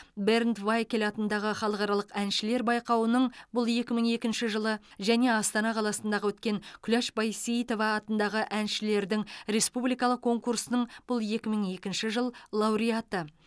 бернд вайкель атындағы халықаралық әншілер байқауының бұл екі мың екінші жылы және астана қаласынды өткен күләш байсейітова атындағы әншілердің республикалық конкурсының бұл екі мың екінші жыл лауреаты